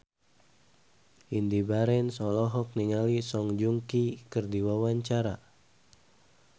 Indy Barens olohok ningali Song Joong Ki keur diwawancara